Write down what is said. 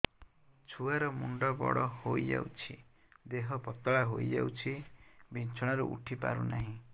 ଛୁଆ ର ମୁଣ୍ଡ ବଡ ହୋଇଯାଉଛି ଦେହ ପତଳା ହୋଇଯାଉଛି ବିଛଣାରୁ ଉଠି ପାରୁନାହିଁ